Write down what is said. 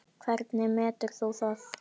Hvernig metur þú það?